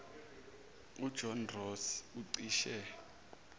ujohn ross ucishe